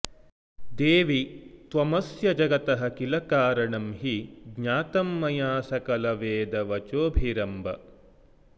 देवि त्वमस्य जगतः किल कारणं हि ज्ञातं मया सकलवेदवचोभिरम्ब